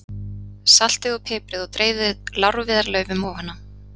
Saltið og piprið og dreifið lárviðarlaufunum ofan á.